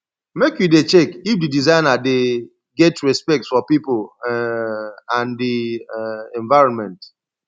make you dey check if di designer dey get respect for pipo um and di um environment